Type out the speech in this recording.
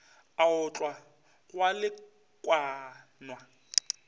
a otlwa go a lekanwa